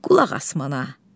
Qulaq as mənə.